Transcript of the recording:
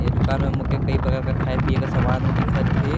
ये दूकान में मोके कई प्रकार कर खाए पीए कर समान दिखत अहाय।